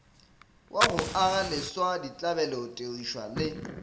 wa go agaleswa ditlabelotirišwa le